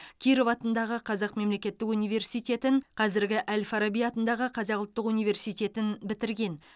киров атындағы қазақ мемлекеттік университетін қазіргі әл фараби атындағы қазақ ұлттық университетін бітірген